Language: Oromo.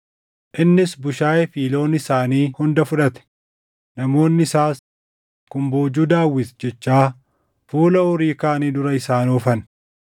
Innis bushaayee fi loon isaanii hunda fudhate; namoonni isaas, “Kun boojuu Daawit” jechaa fuula horii kaanii dura isaan oofan.